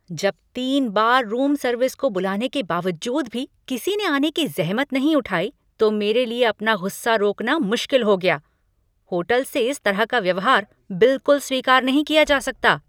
जब तीन बार रूम सर्विस को बुलाने के बावजूद भी किसी ने आने की जहमत नहीं उठाई तो मेरे लिए अपना गुस्सा रोकना मुश्किल हो गया। होटल से इस तरह का व्यवहार बिलकुल स्वीकार नहीं किया जा सकता।